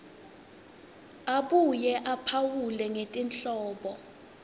abuye aphawule ngetinhlobo